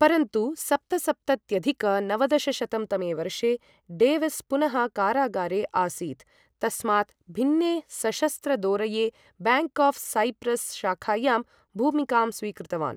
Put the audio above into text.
परन्तु सप्तसप्तत्यधिक नवदशशतं तमे वर्षे डेविस् पुनः कारागारे आसीत्, तस्मात् भिन्ने सशस्त्रदोरये, बैंक आफ् साइप्रस् शाखायां, भूमिकां स्वीकृतवान् ।